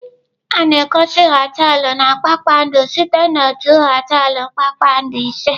A na-egosi họteelụ na kpakpando site na otu họteelụ kpakpando ise.